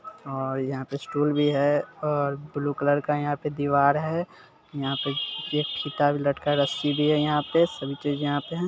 --और यहाँ पे स्टूल भी है और ब्लू कलर का यहाँ पे दीवार भी है यहाँ पे एक फीता भी लटका है रस्सी भी है यहां पे सभी चीज यहाँ पे है--